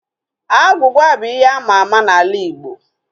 Agwugwa bụ ihe àmà àmà n'ala Igbo